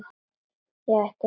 Ég ætti að þegja núna.